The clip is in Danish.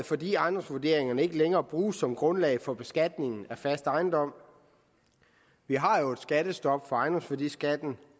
fordi ejendomsvurderingerne ikke længere bruges som grundlag for beskatning af fast ejendom vi har jo et skattestop for ejendomsværdiskatten